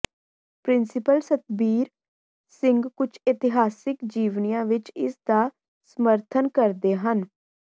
principal Satbir Singh ਕੁਝ ਇਤਿਹਾਸਕ ਜੀਵਨੀਆਂ ਵਿੱਚ ਇਸ ਦਾ ਸਮਰਥਨ ਕਰਦੇ ਹਨ